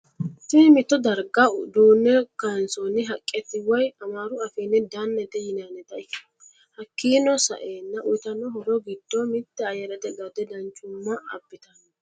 Tinni mitto dariga duune kaansooni haqqeti woyi amaru afiini danete yinannite hakiino sa'eena uyiitano horro giddo mitte ayyarete gadde danchuma abbitanno.